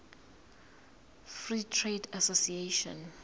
free trade association